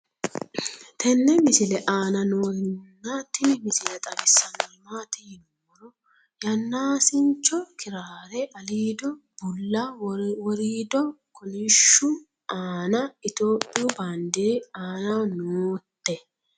tenne misile aana noorina tini misile xawissannori maati yinummoro yaannaasincho kiraarre aliiddo bulla woriiddo kolishshu aanna ithiopiyu baandeeri aannaho nootte